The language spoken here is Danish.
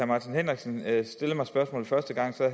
martin henriksen stillede mig spørgsmålet første gang